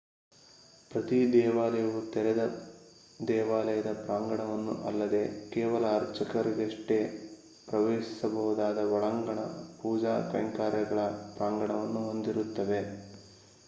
ಪ್ರತಿ ದೇವಾಲಯವು ತೆರೆದ ದೇವಾಲಯದ ಪ್ರಾಂಗಣವನ್ನು ಅಲ್ಲದೇ ಕೇವಲ ಅರ್ಚಕರಷ್ಟೇ ಪ್ರವೇಶಿಸಬಹುದಾದ ಒಳಾಂಗಣ ಪೂಜಾ ಕೈಂಕರ್ಯಗಳ ಪ್ರಾಂಗಣವನ್ನು ಹೊಂದಿರುತ್ತವೆ